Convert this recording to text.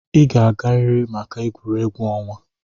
Ị ga-agarịrị maka egwuregwu ọnwa.